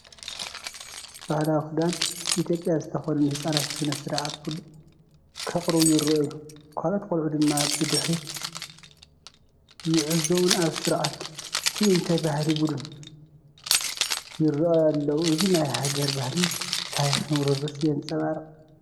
ባህላዊ ክዳን ኢትዮጵያ ዝተኸድኑ ህጻናት ስነ-ስርዓት ቡን ከቕርቡ ይረኣዩ። ካልኦት ቆልዑ ድማ ብድሕሪት ይዕዘቡን ኣብ ስርዓተ ትእይንተ ባህሊ ቡድን ይራኣዩ ኣለዉ። እዚ ናይ ሃገር ባህልን ታሪክን ውርርስ የንፀባርቕ፡፡